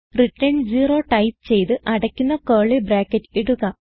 return 0 type ചെയ്ത് അടയ്ക്കുന്ന curly bracket ഇടുക